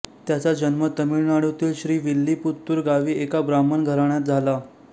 त्याचा जन्म तमिळनाडूतील श्रीविल्लीपुत्तूर गावी एका ब्राह्मण घराण्यात झाला